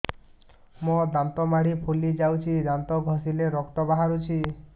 ମୋ ଦାନ୍ତ ମାଢି ଫୁଲି ଯାଉଛି ଦାନ୍ତ ଘଷିଲେ ରକ୍ତ ବାହାରୁଛି